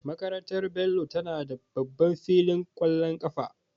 Makarantar Bello tana da babban filin ƙwallon kafa.